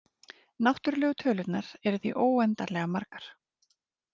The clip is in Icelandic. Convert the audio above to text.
Náttúrlegu tölurnar eru því óendanlega margar.